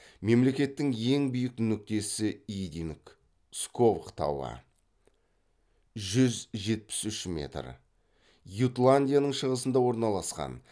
мемлекеттің ең биік нүктесі идинг сковх тауы ютландияның шығысында орналасқан